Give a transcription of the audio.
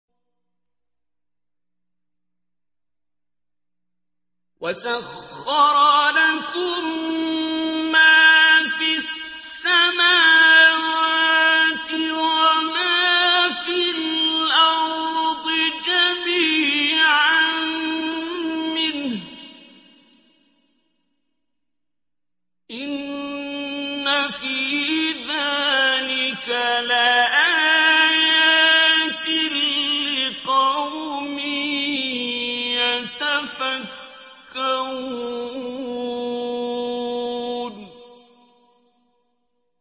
وَسَخَّرَ لَكُم مَّا فِي السَّمَاوَاتِ وَمَا فِي الْأَرْضِ جَمِيعًا مِّنْهُ ۚ إِنَّ فِي ذَٰلِكَ لَآيَاتٍ لِّقَوْمٍ يَتَفَكَّرُونَ